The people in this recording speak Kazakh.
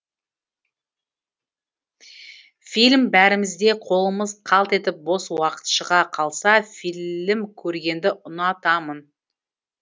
фильм бәрімізде қолымыз қалт етіп бос уақыт шыға қалса филім көргенді ұнатамын